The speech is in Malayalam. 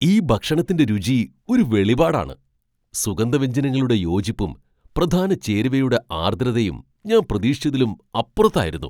ഈ ഭക്ഷണത്തിന്റെ രുചി ഒരു വെളിപാടാണ്, സുഗന്ധവ്യഞ്ജനങ്ങളുടെ യോജിപ്പും, പ്രധാന ചേരുവയുടെ ആർദ്രതയും ഞാൻ പ്രതീക്ഷിച്ചതിലും അപ്പുറത്തതായിരുന്നു .